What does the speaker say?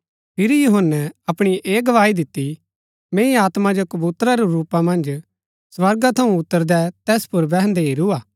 फिरी यूहन्‍नै अपणी ऐह गवाही दिती मैंई आत्मा जो कबूतरा रै रूप मन्ज स्वर्गा थऊँ उतरदै तैस पुर बैहन्‍दै हेरू हा